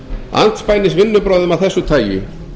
andspænis vinnubrögðum af þessu tagi